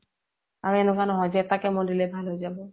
আৰু এনেকুৱা নহয় যে এটা chemo দিলেই ভাল হয় জাব